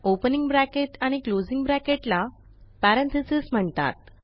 opening bracket आणि closing bracket ला parenthesis म्हणतात